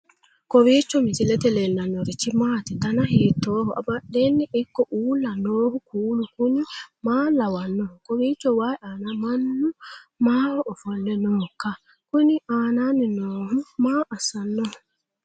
kowiicho misilete leellanorichi maati ? dana hiittooho ?abadhhenni ikko uulla noohu kuulu kuni maa lawannoho? kowiicho wayi aana mannu maaho ofolle nooikka kuni aananni noohu maa assannoho